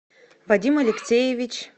вадим алексеевич